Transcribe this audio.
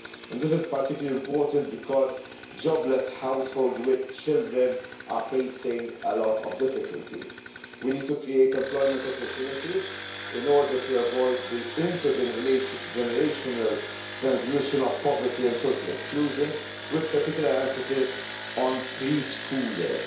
This is particularly important because jobless households with children are facing a lot of difficulties. We need to create employment opportunities in order to avoid the inter generational transmission of poverty and social exclusion, with particular emphasis on pre schoolers.